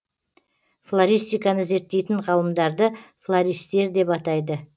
флористиканы зерттейтін ғалымдарды флористтер деп атайды